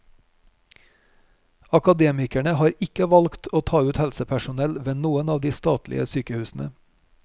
Akademikerne har ikke valgt å ta ut helsepersonell ved noen av de statlige sykehusene.